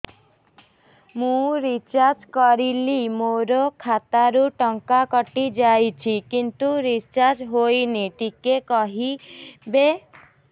ମୁ ରିଚାର୍ଜ କରିଲି ମୋର ଖାତା ରୁ ଟଙ୍କା କଟି ଯାଇଛି କିନ୍ତୁ ରିଚାର୍ଜ ହେଇନି ଟିକେ କହିବେ